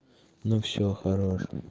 ну всё хорош